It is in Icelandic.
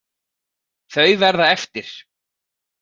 Þau verða eftir.